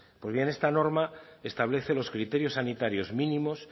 pues bien esta norma establece los criterios sanitarios mínimos